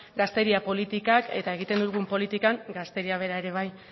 gazteria politikak eta egiten dugun politikan gazteria bera ere bai